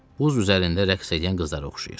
Buz üzərində rəqs edən qızlara oxşayır.